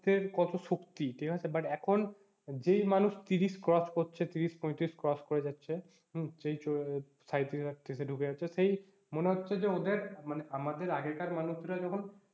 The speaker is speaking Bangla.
কত শক্তি ঠিক আছে আর but এখন যেই মানুষ ত্রিশ cross করছে ত্রিশ পঁয়ত্রিশ cross করে যাচ্ছে হম সাঁইত্রিশ আটত্রিশে ঢুকে যাচ্ছে সেই মনে হচ্ছে যে ওদের মানে আমাদের আগেকার মানুষরা যখন,